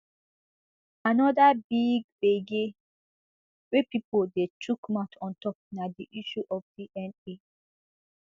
anoda big gbege wey pipo dey chook mouth ontop na di issue of dna